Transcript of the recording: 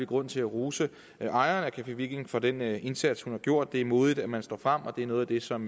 grund til at rose ejeren af café viking for den indsats hun har gjort det er modigt at man står frem og det er noget af det som